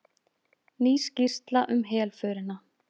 Ný skýrsla um helförina